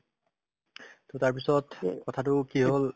to তাৰপিছত অ কথাতো কি হ'ল ‌